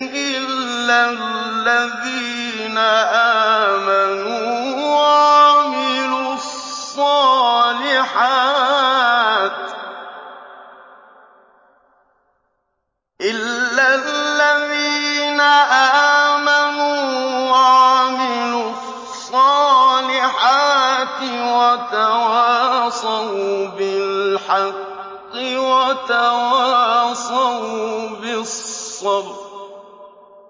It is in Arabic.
إِلَّا الَّذِينَ آمَنُوا وَعَمِلُوا الصَّالِحَاتِ وَتَوَاصَوْا بِالْحَقِّ وَتَوَاصَوْا بِالصَّبْرِ